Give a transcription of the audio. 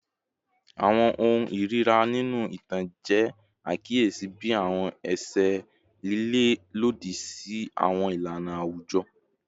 Awọn ohun irira ninu itan jẹ akiyesi bi awọn ẹṣẹ lile lodi si awọn ilana awujọ